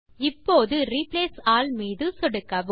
இப்போது replace all மீது சொடுக்கவும்